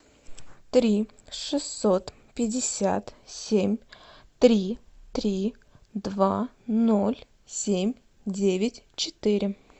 три шестьсот пятьдесят семь три три два ноль семь девять четыре